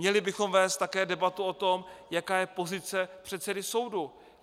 Měli bychom vést také debatu o tom, jaká je pozice předsedy soudu.